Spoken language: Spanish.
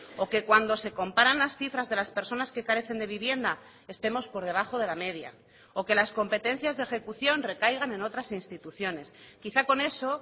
o que cuando se comparan las cifras de las personas que carecen de vivienda estemos por debajo de la media o que las competencias de ejecución recaigan en otras instituciones quizá con eso